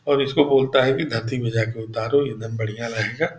और इसको बोलता है की धरती में जा के उतारो एकदम बड़ियाह रहेगा।